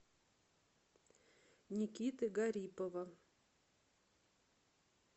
никиты гарипова